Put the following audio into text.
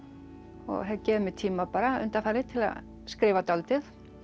og hef gefið mér tíma undanfarið til að skrifa dálítið